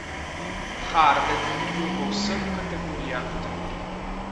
Harden je bil v vseh kategorijah drugi.